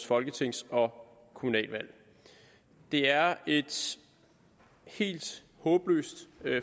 folketings og kommunalvalg det er et helt håbløst